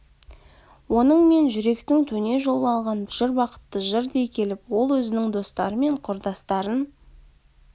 оның мен жүректің төне жол алған жыр бақытты жыр дей келіп ол өзінің достары мен құрдастарын